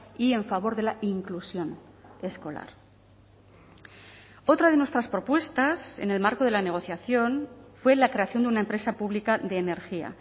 y en favor de la inclusión escolar otra de nuestras propuestas en el marco de la negociación fue la creación de una empresa pública de energía